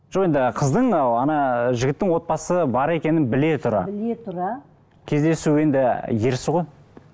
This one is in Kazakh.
жоқ енді қыздың ы ана жігіттің отбасы бар екенін біле тұра біле тұра кездесу енді ерсі ғой